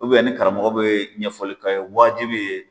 ni karamɔgɔ bɛ ɲɛfɔli ka ye waajibi ye.